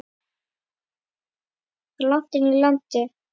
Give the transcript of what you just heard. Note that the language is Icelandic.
Svo langt inn í landi?